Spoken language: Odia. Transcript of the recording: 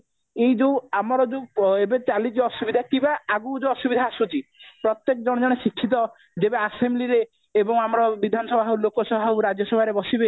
ଏଇ ଯୋଉ ଆମର ଯୋଉ ଏବେ ଚାଲିଛି ଅସୁବିଧା କିମ୍ବା ଆଗକୁ ଯୋଉ ଅସୁବିଧା ଆସୁଛି ପ୍ରତ୍ଯେକ ଜଣେ ଜଣେ ଶିକ୍ଷିତ ଯେବେ assembly ରେ ଏବଂ ଆମ ବିଧାନସଭା ଲୋକସଭା ଆଉ ଲୋକସଭା ରେ ବସିବେ